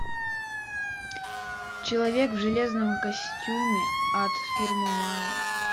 человек в железном костюме от фирмы марвел